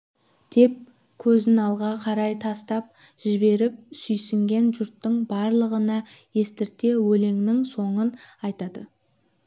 деп көзін алға қарай тастап жіберіп сүйсінген жұрттың барлығына естірте өлеңнің соңын айтады